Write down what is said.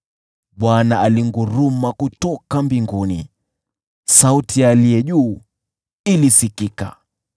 Bwana alinguruma kutoka mbinguni, sauti ya Aliye Juu Sana ilisikika.